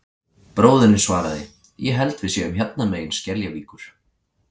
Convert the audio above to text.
Bróðirinn svaraði: Ég held við séum hérna megin Skeljavíkur